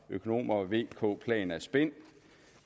økonomer vk plan er spin